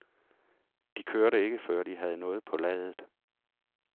De kørte ikke, før de havde noget på ladet.